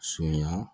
Sonya